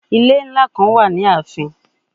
Ile nla kan wa ni aafin